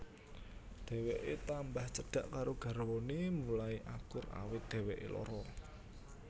Dheweké tambah cedhak karo garwané mulai akur awit dheweké lara